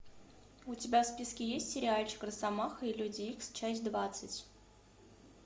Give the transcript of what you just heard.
у тебя в списке есть сериальчик росомаха и люди икс часть двадцать